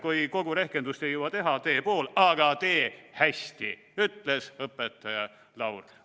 "Kui kogu rehkendust ei jõua, tee pool, aga tee hästi," ütles õpetaja Laur.